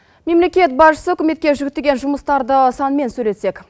мемлекет басшысы үкіметке жүктелген жұмыстарды санмен сөйлессек